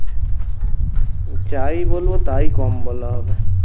যাই বলবো তাই কম বলা হবে